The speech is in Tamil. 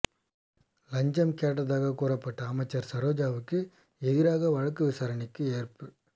லஞ்சம் கேட்டதாகக் கூறப்பட்ட அமைச்சர் சரோஜாவுக்கு எதிராக வழக்கு விசாரணைக்கு ஏற்பு